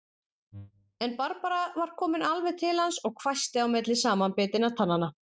En Barbara var komin alveg til hans og hvæsti milli samanbitinna tannanna